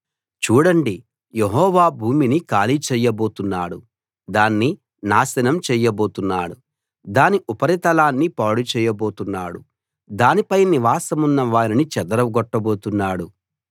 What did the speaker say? చూడండి యెహోవా భూమిని ఖాళీ చేయబోతున్నాడు దాన్ని నాశనం చేయబోతున్నాడు దాని ఉపరితలాన్ని పాడు చేయబోతున్నాడు దానిపై నివాసమున్న వారిని చెదరగొట్టబోతున్నాడు